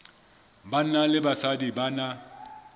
banna le basadi ba na